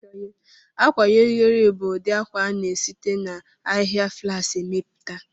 Akwayọrịyorị bu ụdị akwa a na-esite n'ahịhịa flaks emepụta